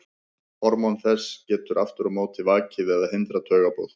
Hormón þess geta aftur á móti vakið eða hindrað taugaboð.